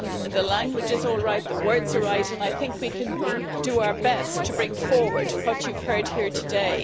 The language is right, the words are right, and we can do our best to bring forward what you've heard here today.